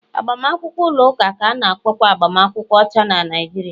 Agbamakwụkwọ ụlọ ụka ka a na-akpọkwa agbamakwụkwọ ọcha na Naijiria